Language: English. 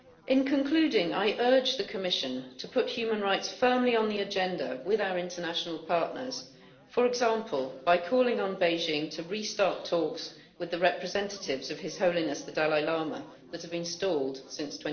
In concluding, I urge the Commission to put human rights firmly on the agenda with our international partners, for example by calling on Beijing to restart talks with the representatives of His Holiness the Dalai Lama that have been stalled since